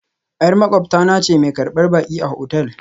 Yar maƙwabta na ce mai karbar baki a otal